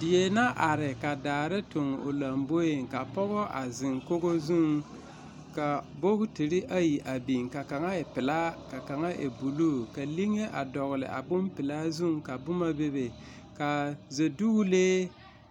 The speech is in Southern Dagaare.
Die na are ka dare tontoŋ o lamboe ka pɔge a zeŋ kogo zuŋ ka bogitiri ayi a biŋ ka kaŋa e pelaa aka kaŋa e buluu. Ka liŋe a dɔgele a bompelaa na zuŋ ka boma bebe. Ka Zedogelee